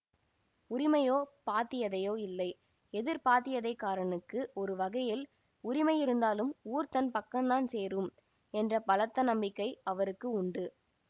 உரிமையோ பாத்தியதையோ இல்லை எதிர்பாத்தியதைக்காரனுக்கு ஒரு வகையில் உரிமை இருந்தாலும் ஊர் தன் பக்கந்தான் சேரும் என்ற பலத்த நம்பிக்கை அவருக்கு உண்டு